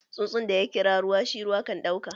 Tsuntsun da ya kira ruwa, shi ruwa kan duka!